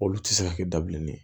Olu tɛ se ka kɛ da bilenni ye